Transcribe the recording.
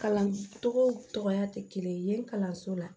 Kalancogoya tɛ kelen ye kalanso la